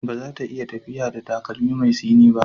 Ba za ta iya tafiya da takalmi mai tsini ba.